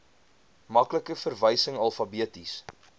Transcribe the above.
maklike verwysing alfabeties